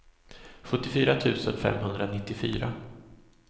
sjuttiofyra tusen femhundranittiofyra